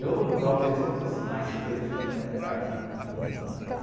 Eu, talvez, se eu fosse mais fresca, não entrasse muito no mangue